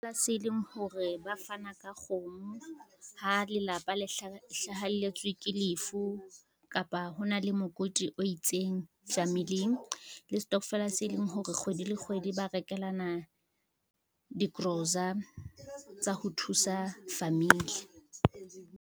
Se leng hore ba fana ka kgomo, ha lelapa le hlaheletswe ke lefu kapa hona le mokoti o itseng familing. Le stokvela se leng hore kgwedi le kgwedi ba rekelana dikorosa tsa ho thusa famili.